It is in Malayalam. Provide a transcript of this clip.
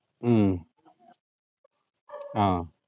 ഉം ആഹ്